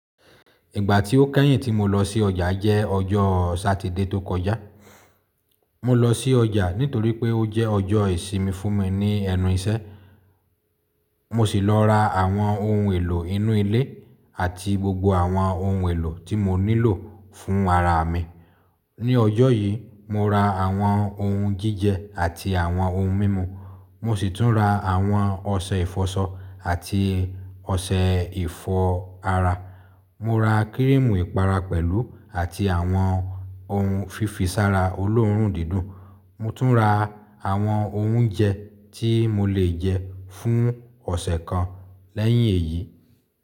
Ìgbà tí ó kẹ́yìn tí mo lọ sí ọjà jẹ́ ọjọ́ Satide tó kọjá. Mọ lọ sí ọjà nítorí pé ó jẹ́ ọjọ́ ìsinmi fún mi ní ẹnu iṣẹ́. Mo sì lọ ra àwọn ohun èlò inú ilé àti gbogbo àwọn ohun èlò tí mo nílò fún ara mi. Ní ọjọ́ yìí, mo ra àwọn ohun jíjẹ àti àwọn ohun mímu. Mo sì tún ra àwọn ọṣẹ ìfọṣọ àti ọṣẹ ìfọ ara. Mo ra kírímù ìpara pẹ̀lú àti àwọn ohun fífisára olóòórùn dídùn. Mo tún ra àwọn oúnjẹ tí mo le jẹ fún ọ̀sẹ̀ kan lẹ́yìn èyí.